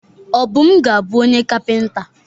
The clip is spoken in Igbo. Obum ga-abu onye kapịnta.